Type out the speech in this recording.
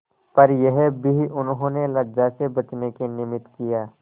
पर यह भी उन्होंने लज्जा से बचने के निमित्त किया